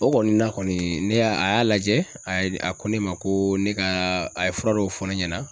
O kɔni na kɔni ne y'a a y'a lajɛ a y'a a ko ne ma ko ne ka a ye fura dɔw fɔ ne ɲɛna.